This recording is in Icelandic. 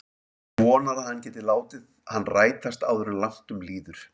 Vonar að hann geti látið hann rætast áður en langt um líður.